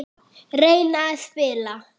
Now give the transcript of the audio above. Reyna að spila!